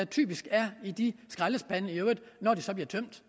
typisk er i de skraldespande når de så bliver tømt